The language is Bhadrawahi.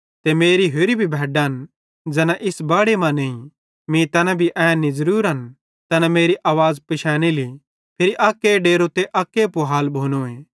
ते मेरी होरि भी भैड्डन ज़ैना इस बाड़े मां नईं मीं तैना भी ऐनिन ज़रूरिन तैना मेरी आवाज़ पिशैनेली फिरी अक्के डेरो ते अक्के पूहाल भोनोए